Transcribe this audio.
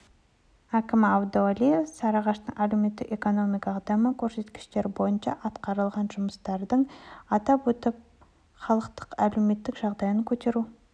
әкімі әбдуәлиев сарыағаштың әлеуметтік-экономикалық даму көрсеткіштері бойынша атқарылған жұмыстарды атап өтіп халықтың әлеуметтік жағдайын көтеру